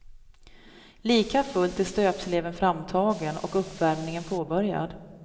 Likafullt är stöpsleven framtagen och uppvärmningen påbörjad.